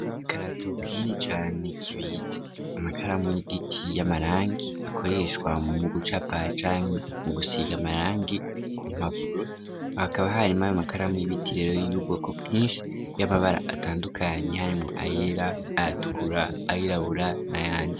Ikaratoka ini cane kibica amakaramu y'igiti y'amaranki akoreshwa mu gucapa canke mu gusiga amaranki ku mpapuro hakaba hari mawe amakaramu y'ibitirero yiyuboko bwinshi y'amabara atandukanyi hari mu ayela aratukura ayilabula na yanji.